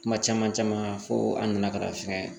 Kuma caman caman fo an nana ka na fɛn